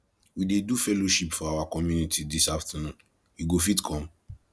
we dey do fellowship for our community dis afternoon you go fit come